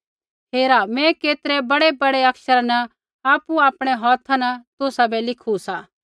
हेरा मैं केतरै बड़ेबड़े अक्षरा न आपु आपणै हौथै तुसाबै लिखू सा